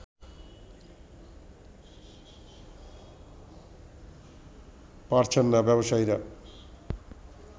পারছেন না ব্যবসায়ীরা